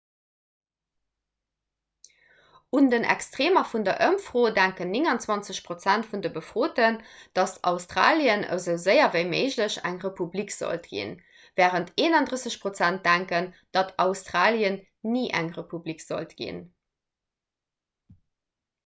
un den extreemer vun der ëmfro denken 29 prozent vun de befroten datt australien esou séier ewéi méiglech eng republik sollt ginn wärend 31 prozent denken datt australien ni eng republik sollt ginn